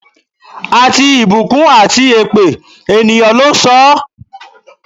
Àti ìbùkún àti èpè, ènìyàn ló ń sọ ọ́.